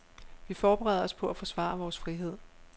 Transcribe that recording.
Vi forbereder os på at forsvare vores frihed.